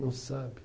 Não sabe.